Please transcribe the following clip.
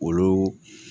Olu